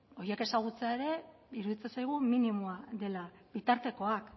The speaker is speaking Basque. horiek ezagutzea ere iruditzen zaigu minimoa dela bitartekoak